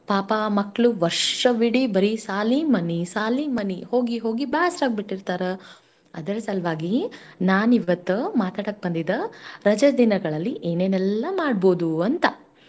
ಪಾಪ ಆ ಮಕ್ಳು ವರ್ಷವಿಡೀ ಬರೀ ಸಾಲಿ ಮನಿ ಸಾಲಿ ಮನಿ ಹೋಗಿ ಹೋಗಿ ಬ್ಯಾಸ್ರಾಗ್ಬಿಟ್ಟಿರ್ತಾರ. ಅದರ್ ಸಲ್ವಾಗಿ ನಾನಿವತ್ತ ಮಾತಾಡಕ್ ಬಂದಿದ್ದ ರಜೇ ದಿನಗಳಲ್ಲಿ ಏನೇನೆಲ್ಲಾ ಮಾಡ್ಬೌದೂ ಅಂತ.